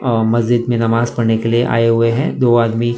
अह मस्जिद में नमाज पढ़ने के लिए आए हुए हैं दो आदमी।